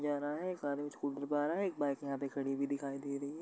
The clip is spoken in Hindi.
जा रहा है। एक आदमी स्कूटी पे आ रहा है। एक बाइक यहाँ पर खड़ी हुई दिखाई दे रही है।